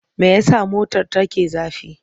Me ya sa motar take zafi?